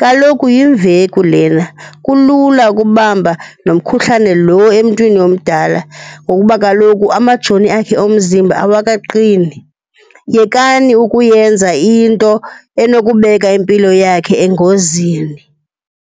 Kaloku yimveku lena kulula ukubamba nomkhuhlane lo emntwini omdala ngokuba kaloku amajoni akhe omzimba awakaqini. Yekani ukuyenza into enokubeka impilo yakhe engozini.